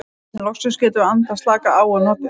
Loksins getum við andað, slakað á og notið.